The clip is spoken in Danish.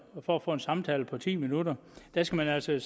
for at få en samtale på ti minutter der skal man altså